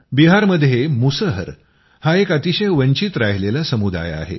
बिहारमध्ये मुसहर हा एक अतिशय वंचित राहिलेला समुदाय आहे